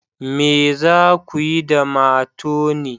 Me za ku yi da matoni?